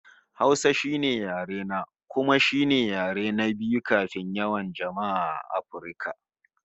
Hausa shine yare na, kuma shine yare na biyu mafi yawan jama'a a Afirka